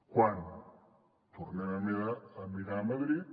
quan tornem a mirar madrid